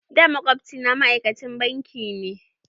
Da, makwabci na ma'aikacin banki ne.